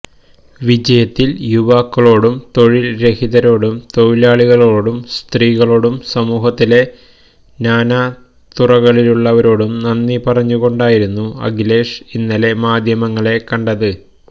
വിജയത്തില് യുവാക്കളോടും തൊഴില്രഹിതരോടും തൊഴിലാളികളോടും സ്ത്രീകളോടും സമൂഹത്തിലെ നാനാ തുറകളിലുള്ളവരോടും നന്ദി പറഞ്ഞുകൊണ്ടായിരുന്നു അഖിലേഷ് ഇന്നലെ മാധ്യമങ്ങളെ കണ്ടത്